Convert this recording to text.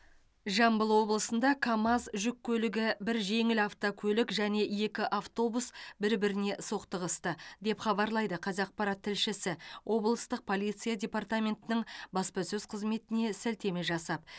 жамбыл облысында камаз жүк көлігі бір жеңіл автокөлік және екі автобус бір біріне соқтығысты деп хабарлайды қазақпарат тілшісі облыстық полиция департаментінің баспасөз қызметіне сілтеме жасап